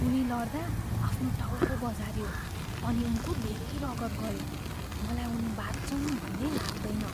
उनी लडदा आफ्नो टाउको बजारियो अनि उनको धेरै रगत गयो। मलाई उनी बाँच्छन् भन्ने लाग्दैन।